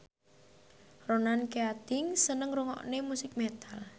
Ronan Keating seneng ngrungokne musik metal